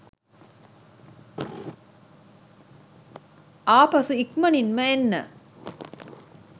ආපසු ඉක්මනින්ම එන්න